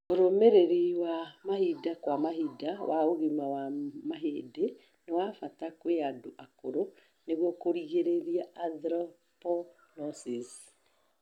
ũrũmirĩri wa mahinda kwa mahinda wa ũgima wa mahĩndĩ nĩ wa mbata kwĩ andũ akũrũ nĩguo kũrigĩrĩria osteoporosis